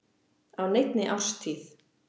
á neinni árstíð.